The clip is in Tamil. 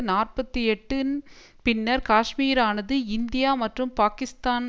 நாற்பத்தி எட்டுன் பின்னர் காஷ்மீரானது இந்தியா மற்றும் பாக்கிஸ்தான்